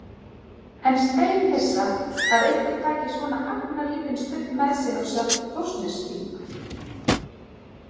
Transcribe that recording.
En steinhissa að einhver taki svona agnarlítinn stubb með sér á sjálft Þórsnesþing.